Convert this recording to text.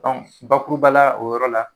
Dɔnku bakuruba la, o yɔrɔ la